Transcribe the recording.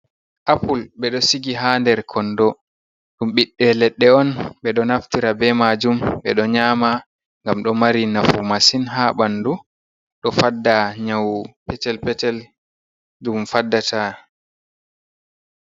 Apul ɓe ɗo sigi haa nder konndo, ɗum ɓiɓɓe leɗɗe on, ɓe ɗo naftira ɓe majum, ɓe ɗo nyaama ngam ɗo mari nafu masin ha bandu, ɗo fadda nyawu petel-petel ɗum faddata.